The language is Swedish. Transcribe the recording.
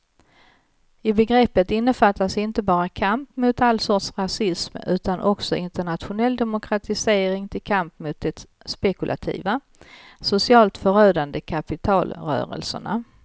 I begreppet innefattas inte bara kamp mot all sorts rasism utan också internationell demokratisering till kamp mot de spekulativa, socialt förödande kapitalrörelserna.